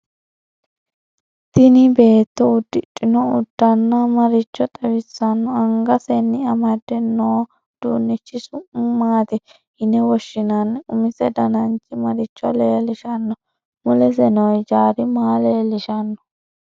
Tini beeto udidhinno uddanno maricho xawissanno angasenni amadde noouduunichi su'ma maati yine woshinanni umise dananchi maricho leelishanno mulese noo hijaari maa leelishanno